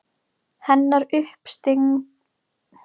Hennar uppstigning og hvítasunna munu koma.